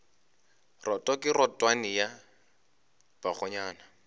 roto ke rotwane ya bakgonyana